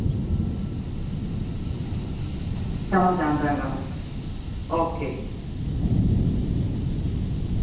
ਸਮਾਂ ਚਾਹੁੰਦਾ ਗਾ ਓਕੇ